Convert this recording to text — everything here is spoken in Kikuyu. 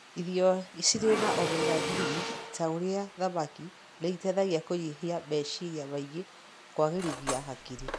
Irio cirĩ na Omega-3 ta ũrĩa thamaki nĩ ĩteithagia kũnyihiameciria maingĩ na kũagĩrithia hakiri